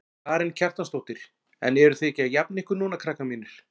Karen Kjartansdóttir: En eruð þið ekki að jafna ykkur núna krakkar mínir?